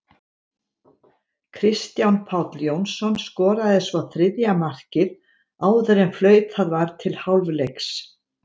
Kristján Páll Jónsson skoraði svo þriðja markið áður en flautað var til hálfleiks.